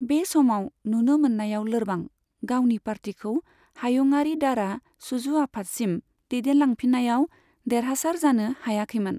बे समाव नुनो मोननायाव लोरबां, गावनि पार्टीखौ हायुंआरि दारा सुजु आफादसिम दैदेनलांफिननायाव देरहासार जानो हायाखैमोन।